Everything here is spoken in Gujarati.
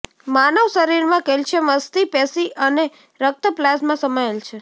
માનવ શરીરમાં કેલ્શિયમ અસ્થિ પેશી અને રક્ત પ્લાઝ્મા સમાયેલ છે